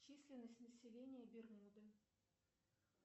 численность населения бермуды